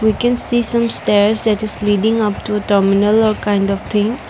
we can see some stairs that leaving after terminal or kind of thing.